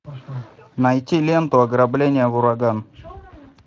найти ленту ограбление в ураган